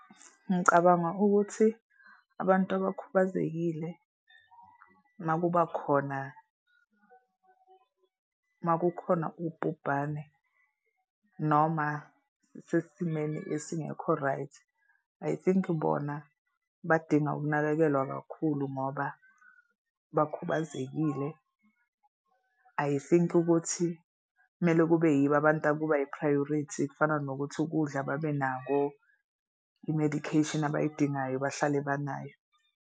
Ngicabanga ukuthi abantu abakhubazekile uma kuba khona uma kukhona ubhubhane noma sesimeni esingekho right, I think bona badinga ukunakekelwa kakhulu ngoba bakhubazekile. I think ukuthi kumele kube yibo abantu akuba yi-priority. Kufana nokuthi ukudla babenakho i-medication abayidingayo bahlale banayo.